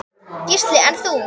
Gísli: En þú?